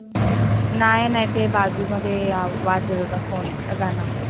नाय नाय. ते बाजूमध्ये वाजत होता phone गाण.